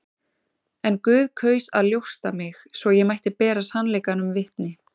En Guð kaus að ljósta mig, svo ég mætti bera sannleikanum vitni.